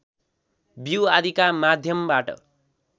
बिउ आदिका माध्यमबाट